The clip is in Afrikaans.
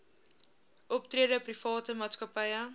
optrede private maatskappye